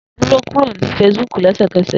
Duro kuro ni Facebook lẹsẹkẹsẹ!